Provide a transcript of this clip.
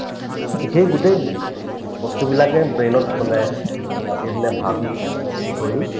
so, সেই গোটেই বস্তুবিলাকে brain ত মানে ৰাতিয়ে দিনে ভাবি হেৰি কৰি